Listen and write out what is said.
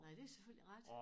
Nej det selvfølgelig rigtigt